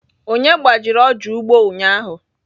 Onye gbajiri ọja ugbo ụnyahụ?